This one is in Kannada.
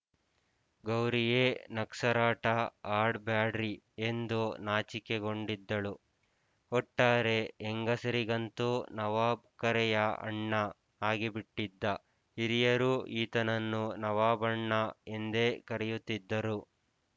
ಗೌರಿ ಯೇ ನಗ್ಸಾರಾಟ ಆಡ್ ಬ್ಯಾಡ್ರಿ ಎಂದು ನಾಚಿಕೊಂಡಿದ್ದಳು ಒಟ್ಟಾರೆ ಹೆಂಗಸರಿಗಂತೂ ನವಾಬ್ ಅಕ್ಕರೆಯ ಅಣ್ಣ ಆಗಿಬಿಟ್ಟಿದ್ದ ಹಿರಿಯರೂ ಈತನನ್ನು ನವಾಬಣ್ಣ ಎಂದೇ ಕರೆಯುತ್ತಿದ್ದರು